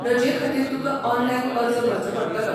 रजे खातीर तुकां ऑनलायन अर्ज भरचो पडटलो.